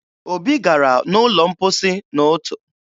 Obi gara n'ụlọ mposi n'ụtụ